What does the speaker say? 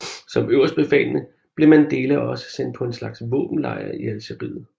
Som øverstbefalende blev Mandela også sendt på en slags våbenlejr i Algeriet